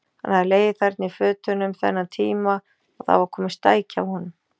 Hann hafði legið þarna í fötunum þennan tíma og það var komin stækja af honum.